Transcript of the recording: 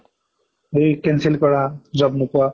হেৰি cancel কৰা, job নোপোৱা